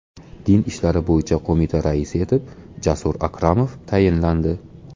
Din ishlari bo‘yicha qo‘mita raisi etib Jasur Akromov tayinlandi.